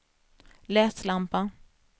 läslampa